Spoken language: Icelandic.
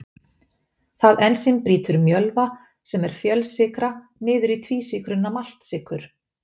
Það ensím brýtur mjölva sem er fjölsykra niður í tvísykruna maltsykur.